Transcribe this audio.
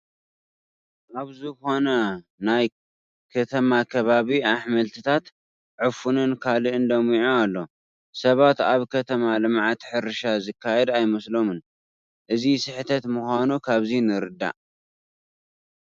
ኣብ ዝኾነ ናይ ከተማ ከባቢ ኣሕምልትታት፣ ዕፉንን ካልእን ለሚዑ ኣሎ፡፡ ሰባት ኣብ ከተማ ልምዓት ሕርሻ ዝካየድ ኣይመስሎምን፡፡ እዚ ስሕተት ምዃኑ ካብዚ ንርዳእ፡፡